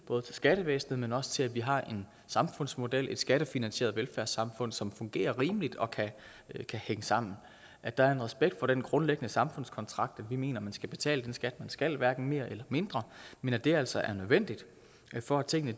både skattevæsenet men også til at vi har en samfundsmodel et skattefinansieret velfærdssamfund som fungerer rimeligt og kan hænge sammen at der er en respekt for den grundlæggende samfundskontrakt hvor vi mener at man skal betale den skat man skal hverken mere eller mindre men at det altså er nødvendigt for at tingene